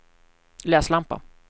läslampa